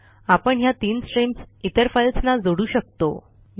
आपण ह्या तीन स्ट्रीम्स इतर फाईल्सना जोडू शकतो